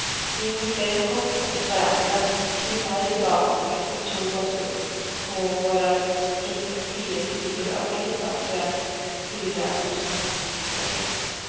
Vi nickade kort åt varandra, simmade tillbaka och tog oss upp på våra respektive sidor av klippan för att skyla oss med handdukar.